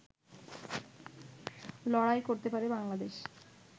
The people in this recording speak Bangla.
লড়াই করতে পারে বাংলাদেশ